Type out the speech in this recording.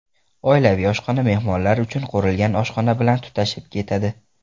Oilaviy oshxona mehmonlar uchun qurilgan oshxona bilan tutashib ketadi.